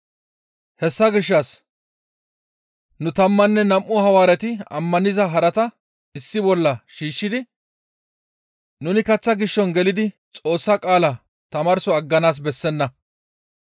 Hessa gishshas nu tammanne nam7u Hawaareti ammaniza harata issi bolla shiishshidi, «Nuni kaththa gishason gelidi Xoossa qaalaa tamaarso agganaas bessenna.